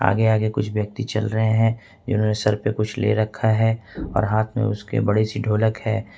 आगे आगे कुछ व्यक्ति चल रहे है जिन्होंने सर पे कुछ ले रखा है और हाथ में उसके बड़ी सी ढोलक है।